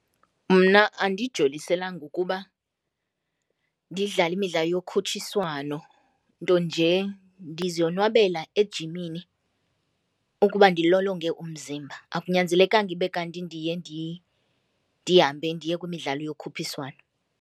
Mna andijoliselanga ukuba ndidlale imidlalo yokhutshiswano nto nje ndizonwabela ejimini ukuba ndilolonge umzimba, akunyanzelekanga ibe kanti ndiye ndihambe ndiye kwimidlalo yokhuphiswano.